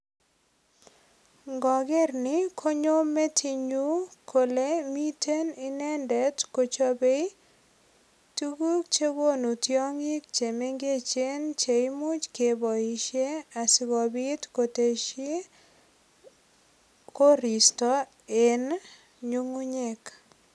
Ngoger ni konyo metinyu kole miten inendet kochobei tuguk che konu tiongik che mengechen che imuch keboisie asigopit kotesyi koristo en nyungunyek.